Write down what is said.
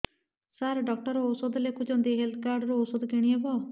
ସାର doctor ଔଷଧ ଲେଖିଛନ୍ତି health card ରୁ ଔଷଧ କିଣି ହେବ